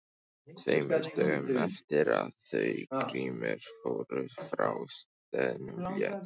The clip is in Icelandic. Tveimur dögum eftir að þau Grímur fóru frá staðnum lét